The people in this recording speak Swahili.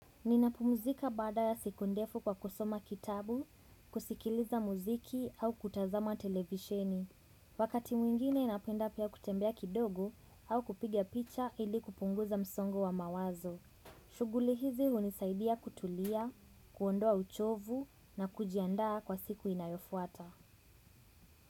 Ninapumzika baada ya siku ndefu kwa kusoma kitabu, kusikiliza muziki au kutazama televisheni. Wakati mwingine napenda pia kutembea kidogo au kupigia picha ili kupunguza msongo wa mawazo. Shughuli hizi hunisaidia kutulia, kuondoa uchovu na kujiandaa kwa siku inayofuata.